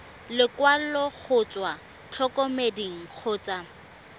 lekwalo go tswa ntlokemeding kgotsa